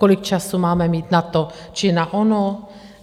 Kolik času máme mít na to či na ono?